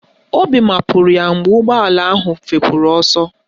Obi mapụrụ ya mgbe ụgbọala ahụ fepụrụ ọsọ